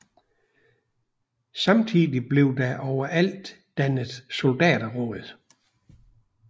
Samtidigt blev der overalt dannet soldaterråd